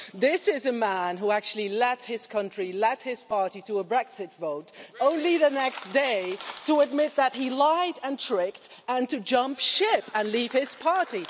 This is a man who actually led his country, led his party, to a Brexit vote, only the next day to admit that he lied and tricked and jumped ship to leave his party.